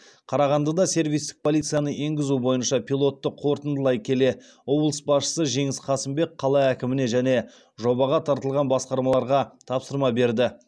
қарағандыда сервистік полицияны енгізу бойынша пилотты қорытындылай келе облыс басшысы жеңіс қасымбек қала әкіміне және жобаға тартылған басқармаларға тапсырма берді